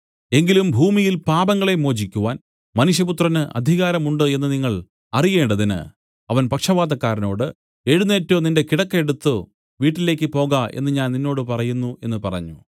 എങ്കിലും ഭൂമിയിൽ പാപങ്ങളെ മോചിക്കുവാൻ മനുഷ്യപുത്രന് അധികാരം ഉണ്ട് എന്നു നിങ്ങൾ അറിയേണ്ടതിന് അവൻ പക്ഷവാതക്കാരനോട് എഴുന്നേറ്റ് നിന്റെ കിടക്ക എടുത്തു വീട്ടിലേക്ക് പോക എന്നു ഞാൻ നിന്നോട് പറയുന്നു എന്നു പറഞ്ഞു